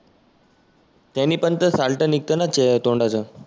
त्यानी पण तर साल्ट नीघतं ना तोंडाचं.